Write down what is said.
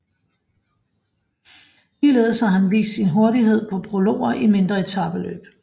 Ligeledes har han vist sin hurtighed på prologer i mindre etapeløb